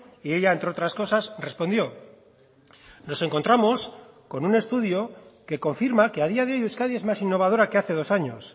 y ella entre otras cosas respondió nos encontramos con un estudio que confirma que a día de hoy euskadi es más innovadora que hace dos años